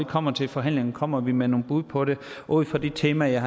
kommer til forhandlingerne kommer vi med nogle bud på det ud fra de temaer jeg